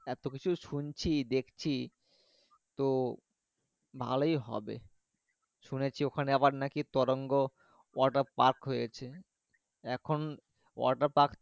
এত কিছু শুনছি দেখছি তো ভালোই হবে শুনেছি আবার নাকি তরঙ্গ water park হয়েছে এখন water park